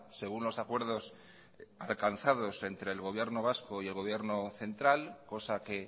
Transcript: según los acuerdos alcanzados entre el gobierno vasco y el gobierno central cosa que